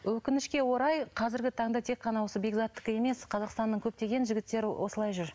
өкінішке орай қазіргі таңда тек қана осы бекзаттікі емес қазақстанның көптеген жігіттері осылай жүр